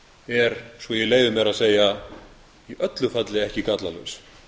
er svo ég leyfi mér að segja í öllu falli ekki gallalaus